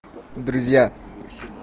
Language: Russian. друзья